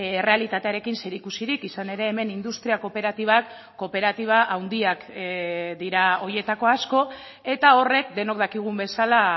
errealitatearekin zerikusirik izan ere hemen industria kooperatibak kooperatiba handiak dira horietako asko eta horrek denok dakigun bezala